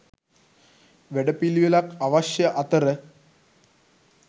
වැඩපිළිවෙලක් අවශ්‍ය අතර